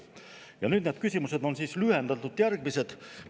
Ja need küsimused on lühendatult järgmised.